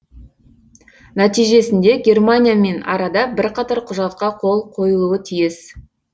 нәтижесінде германиямен арада бірқатар құжатқа қол қойылуы тиіс